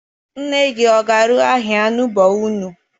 Nne gị ọ ga-arụ ahịhịa n'ugbo unu?